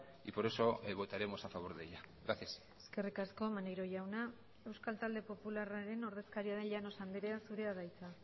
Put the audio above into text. y por eso votaremos a favor de ella gracias eskerrik asko maneiro jauna euskal talde popularraren ordezkaria den llanos andrea zurea da hitza